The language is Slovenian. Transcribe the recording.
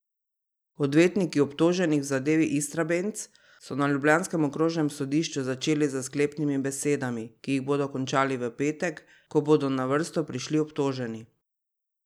Odvetniki obtoženih v zadevi Istrabenz so na ljubljanskem okrožnem sodišču začeli s sklepnimi besedami, ki jih bodo končali v petek, ko bodo na vrsto prišli obtoženi.